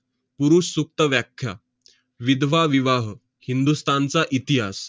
पुरुष सुप्त व्याख्या, विधवा विवाह, चा इतिहास,